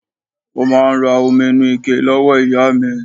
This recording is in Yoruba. Ó máa n ra omi inú ike lọ́wọ́ ìyá mi